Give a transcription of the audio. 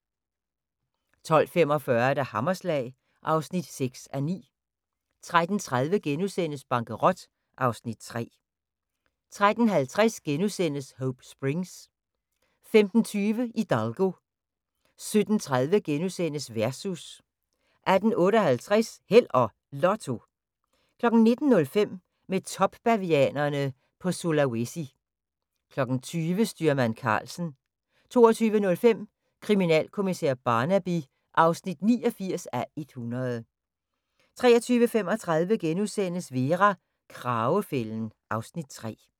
12:45: Hammerslag (6:9) 13:30: Bankerot (Afs. 3)* 13:50: Hope Springs * 15:20: Hidalgo 17:30: Versus * 18:58: Held og Lotto 19:05: Mød topbavianerne på Sulawesi 20:00: Styrmand Karlsen 22:05: Kriminalkommissær Barnaby (89:100) 23:35: Vera: Kragefælden (Afs. 3)*